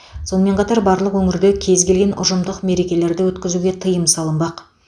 сонымен қатар барлық өңірде кез келген ұжымдық мерекелерді өткізуге тыйым салынбақ